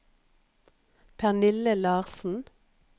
Pernille Larsen